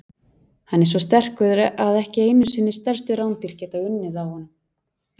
Hann er svo sterkur að ekki einu sinni stærstu rándýr geta unnið á honum.